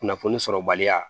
Kunnafoni sɔrɔbaliya